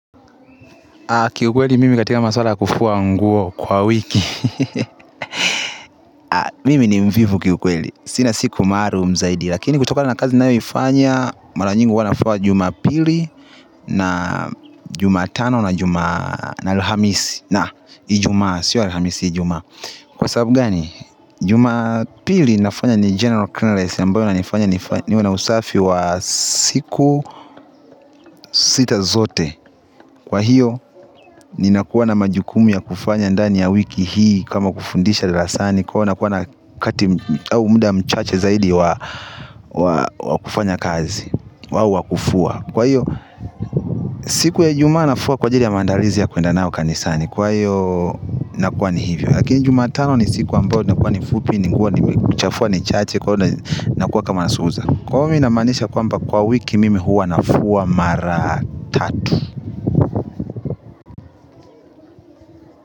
Ki ukweli mimi katika maswala ya kufuwa nguo kwa wiki mimi ni mvivu kiukweli sina siku mahali hunisaidia lakini kutokana na kazi ninaoifanya mara nyingi huwa nafua Jumapili na Jumatano na juma Alhamisi na Ijumaa sio Alhamisi Ijumaa kwa sababu gani Jumapili nafanya ni general clearance ambayo ina nifanya ni wana usafi wa siku sita zote kwa hiyo ninakuwa na majukumu ya kufanya ndani ya wiki hii kama kufundisha darasani kwa hiyo nakuwa na kati au muda mchache zaidi wa kufanya kazi au wakufua kwa hiyo siku ya juma nafua kwa ajili ya maandalizi ya kwenda nao kanisani kwa hiyo nakuwa ni hivyo lakini Jumatano ni siku ambao nakuwa ni fupi. Ningekuwa ni kuchafua ni chache kwa hiyo nakuwa kama nasuza kwa hiyo ninamaanisha kwamba kwa wiki mimi huwa nafua mara tatu kwa hiyo.